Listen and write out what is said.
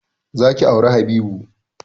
Za ki auri Habibu!